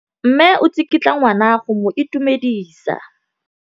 Mme o tsikitla ngwana go mo itumedisa.